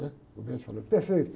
Ãh, o médico falou, perfeito.